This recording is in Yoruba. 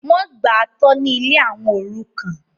wọ́n gbà á tọ́ ní ilé àwọn òrukàn